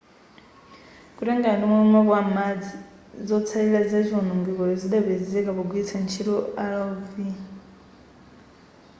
kutengera ndimomwe map a m'madzi zotsallira za chowonongekacho chidapezeka pogwilitsa ntchito rov